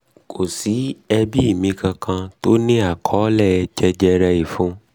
kò sí ẹbí mi kankan tó ní àkọọ́lẹ̀ jẹjẹre inú ìfun